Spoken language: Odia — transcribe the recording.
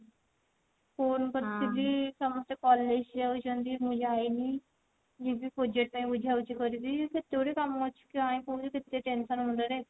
phone କରିଥିଲି ସମସ୍ତେ college ଯାଉଛନ୍ତି ମୁଁ ଯାଇନି ଯିବି project ପାଇଁ ବୁଝା ବୁଝି କରିବି କେତେ ଗୁଡାଏ କାମ ଅଛି try କରୁଛି କେତେ tension ମୁଣ୍ଡ ରେ